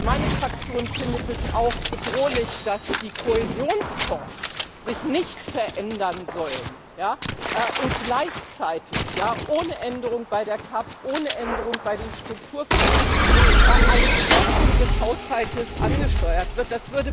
Meine Fraktion findet es auch bedrohlich, dass die Kohäsionsfonds sich nicht verändern sollen und gleichzeitig ohne Änderung bei der GAP, ohne Änderung bei den Strukturfonds eine Kürzung des Haushalts angesteuert wird.